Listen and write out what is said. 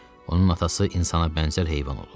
Onun atası insana bənzər heyvan olub.